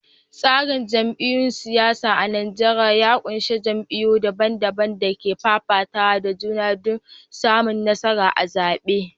Tsarin jam’iyyun siyasa a Najeriya ya ƙunshi jam’iyyu daban-daban da ke fafatawa da juna domin samun nasara a zaɓe.